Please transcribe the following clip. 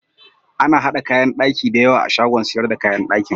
Ana haɗa kayan ɗaki da yawa a shagon siyar da kayan ɗakin.